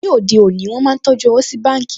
Ní òde òní, wọ́n máa ń tọjú owó sí báǹkì